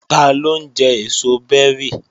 Taló ń jẹ èso bẹ́rì?